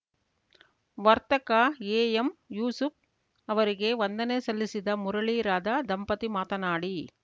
ವರ್ತಕ A M Yusuf ಅವರಿಗೆ ವಂದನೆ ಸಲ್ಲಿಸಿದ ಮುರಳಿ ರಾಧ ದಂಪತಿ ಮಾತನಾಡಿ